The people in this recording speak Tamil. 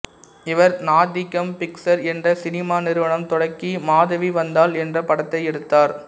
இவர் நாத்திகம் பிக்சர் என்ற சினிமா நிறுவனம் தொடக்கி மாதவி வந்தாள் என்ற படத்தை எடுத்தார்